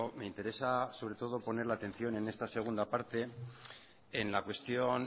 me interesa sobre todo poner la atención en esta segunda parte en la cuestión